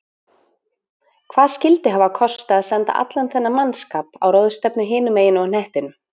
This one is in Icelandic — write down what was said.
Hvað skyldi hafa kostað að senda allan þennan mannskap á ráðstefnu hinum megin á hnettinum?